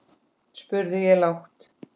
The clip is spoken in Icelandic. spurði ég lágt.